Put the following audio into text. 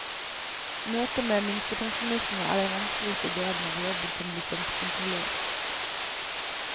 Møtet med minstepensjonistene er den vanskeligste delen av jobben som lisenskontrollør.